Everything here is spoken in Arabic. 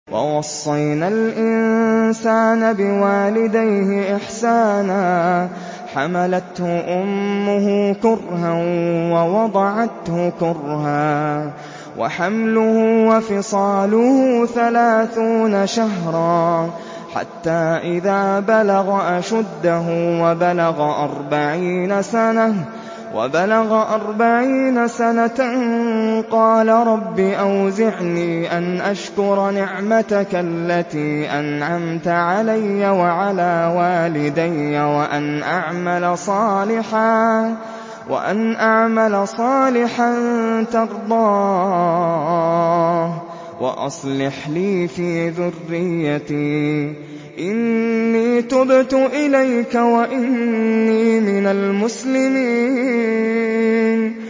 وَوَصَّيْنَا الْإِنسَانَ بِوَالِدَيْهِ إِحْسَانًا ۖ حَمَلَتْهُ أُمُّهُ كُرْهًا وَوَضَعَتْهُ كُرْهًا ۖ وَحَمْلُهُ وَفِصَالُهُ ثَلَاثُونَ شَهْرًا ۚ حَتَّىٰ إِذَا بَلَغَ أَشُدَّهُ وَبَلَغَ أَرْبَعِينَ سَنَةً قَالَ رَبِّ أَوْزِعْنِي أَنْ أَشْكُرَ نِعْمَتَكَ الَّتِي أَنْعَمْتَ عَلَيَّ وَعَلَىٰ وَالِدَيَّ وَأَنْ أَعْمَلَ صَالِحًا تَرْضَاهُ وَأَصْلِحْ لِي فِي ذُرِّيَّتِي ۖ إِنِّي تُبْتُ إِلَيْكَ وَإِنِّي مِنَ الْمُسْلِمِينَ